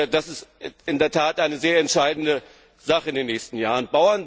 Das ist in der Tat eine sehr entscheidende Sache in den nächsten Jahren.